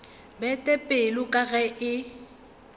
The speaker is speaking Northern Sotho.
bete pelo ka ge e